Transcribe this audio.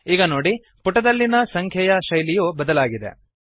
ಈಗ ನೋಡಿ ಪುಟದಲ್ಲಿನ ಸಂಖ್ಯೆಯ ಶೈಲಿಯು ಬದಲಾಗಿದೆ